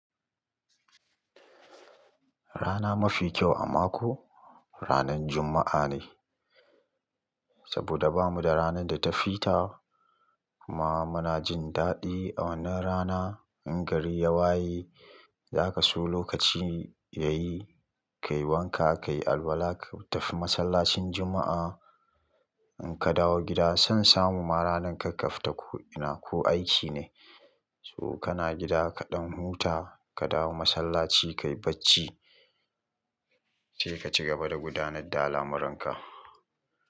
Rana mafi kyau a mako ranan Juma'a ne, saboda bamu da rana da ta fi ta kuma muna jin daɗi a wannan rana. In gari ya waye, za ka so lokaci yayi, ka yi wanka, ka yi alwala, ka tafi masallacin Juma'a. In ka dawo gida, son samu ma ranan ka ka fita ko ina ko aiki ne. So kana gida kaɗan huta, ka dawo masallaci, ka yi bacci, sai ka cigaba da gudanar da al'amuranka.